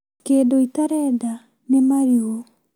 Kĩndũ itarenda nĩ marigu